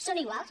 són iguals